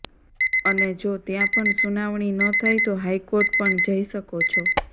અને જો ત્યાં પણ સુનાવણી ન થાય તો હાઇકોર્ટ પણ જઈ શકો છો